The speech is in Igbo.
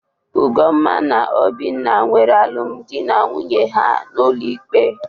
Ugomma na Obinna nwere alụmdị na nwunye ha n'ụlọ ikpe.